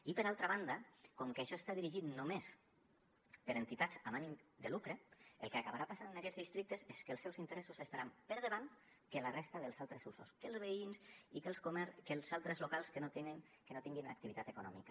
i per altra banda com que això està dirigit només per entitats amb ànim de lucre el que acabarà passant en aquests districtes és que els seus interessos estaran per davant que la resta dels altres usos que els veïns i els que els altres locals que no tinguin activitat econòmica